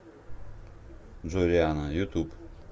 джой рианна ютуб